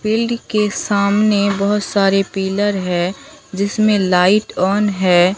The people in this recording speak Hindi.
फील्ड के सामने बहुत सारे पिलर है जिसमें लाइट ऑन है।